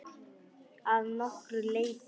Að nokkru leyti.